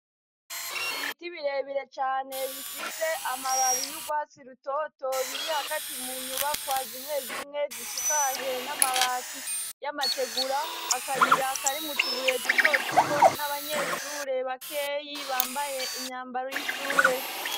Ibiti birebire cane bifite amababi y'urwatsi rutoto biri hagati mu nyubakwa zimwe zimwe zisakaje n'amabati y'amategura akayira karimwo utubuye duto duto n'abanyeshure bakeyi bambaye imyambaro y'ishure.